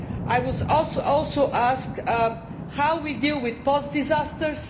I was also asked about how we deal with post disasters.